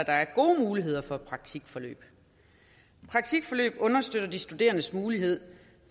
er gode muligheder for praktikforløb praktikforløb understøtter de studerendes mulighed